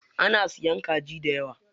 An siya kaji dayawa.